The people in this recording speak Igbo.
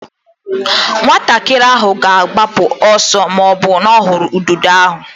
Nwatakịrị ahụ ga-agbapụ ọsọ ma ọ hụ ududo ahụ.